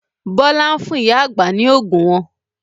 Bọlá ń fún ìyá àgbà ni oògùn wọn